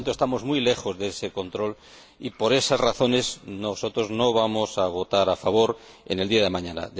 Por lo tanto, estamos muy lejos de ese control y por esas razones nosotros no vamos a votar a favor en el día de mañana.